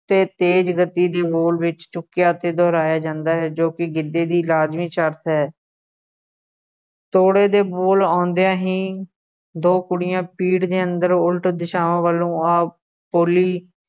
'ਤੇ ਤੇਜ਼ ਗਤੀ ਦੀ ਹੋਰ ਵਿੱਚ ਚੁੱਕਿਆ ਅਤੇ ਦੁਹਰਾਇਆ ਜਾਂਦਾ ਹੈ ਜੋ ਕਿ ਗਿੱਧੇ ਦੀ ਲਾਜ਼ਮੀ ਸ਼ਰਤ ਹੈ ਤੋੜੇ ਦੇ ਬੋਲ ਆਉਂਦਿਆ ਹੀ ਦੋ ਕੁੜੀਆਂ ਪੀੜ ਦੇ ਅੰਦਰੋਂ ਉਲਟ ਦਿਸ਼ਾਵਾਂ ਵੱਲ ਆ ਖੁਰਲੀ